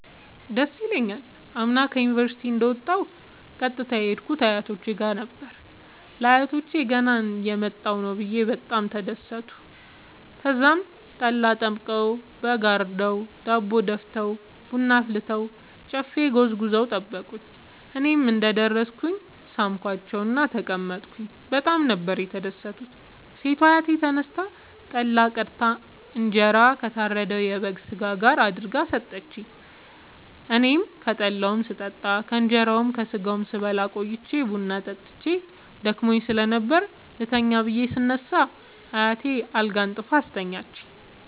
ደስ ይለኛል። አምና ዩኒቨርሢቲ እንደ ወጣሁ ቀጥታ የሄድኩት አያቶቼ ጋር ነበር። ለአያቶቸ ገና እየመጣሁ ነዉ ብየ በጣም ተደሠቱ። ተዛም ጠላ ጠምቀዉ በግ አርደዉ ዳቦ ደፍተዉ ቡና አፍልተዉ ጨፌ ጎዝጉዘዉ ጠበቁኝ። እኔም እንደ ደረስኩ ሣምኳቸዉእና ተቀመጥኩ በጣም ነበር የተደትኩት ሴቷ አያቴ ተነስታ ጠላ ቀድታ እንጀራ ከታረደዉ የበግ ስጋ ጋር አድርጋ ሠጠችኝ። አኔም ከጠላዉም ስጠጣ ከእንራዉና ከስጋዉም ስበላ ቆይቼ ቡና ጠጥቼ ደክሞኝ ስለነበር ልተኛ ብየ ስነሳ አያቴ አልጋ አንጥፋ አስተኛችኝ።